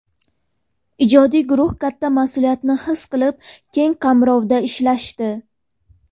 Ijodiy guruh katta mas’uliyatni his qilib, keng qamrovda ishlashdi.